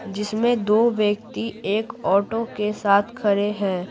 जिसमें दो व्यक्ति एक ऑटो के साथ खड़े हैं|।